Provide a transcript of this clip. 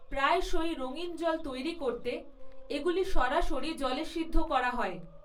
প্রায়শই রঙিন জল তৈরি করতে এগুলি সরাসরি জলে সিদ্ধ করা হয়।